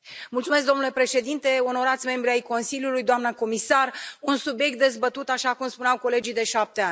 Domnule președinte, onorați membri ai Consiliului, doamnă comisar, un subiect dezbătut, așa cum spuneau colegii, de șapte ani.